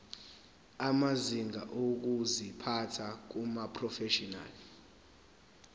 amazinga okuziphatha kumaprofeshinali